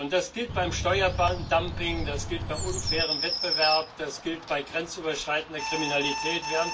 Das gilt beim Steuerdumping, das gilt bei unfairem Wettbewerb, das gilt bei grenzüberschreitender Kriminalität.